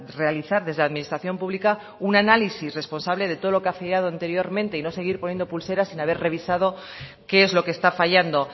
realizar desde administración pública un análisis responsable de todo lo que ha fallado anteriormente y no seguir poniendo pulseras sin haber revisado qué es lo que está fallando